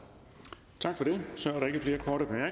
det